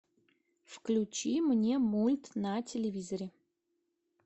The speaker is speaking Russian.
включи мне мульт на телевизоре